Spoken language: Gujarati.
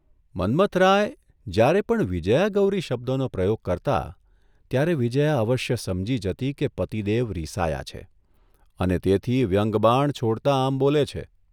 મન્મથરાય જ્યારે પણ ' વિજયાગૌરી ' શબ્દનો પ્રયોગ કરતા ત્યારે વિજયા અવશ્ય સમજી હતી કે પતિદેવ રિસાયા છે અને તેથી વ્યંગ્યબાણ છોડતા આમ બોલે છે.